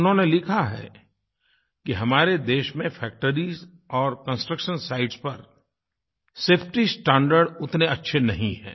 उन्होंने लिखा है कि हमारे देश में फैक्टरीज और कंस्ट्रक्शंस साइट्स पर सेफटी स्टैंडर्ड्स उतने अच्छे नहीं हैं